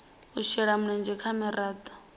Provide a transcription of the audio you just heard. u shela mulenzhe ha miraḓo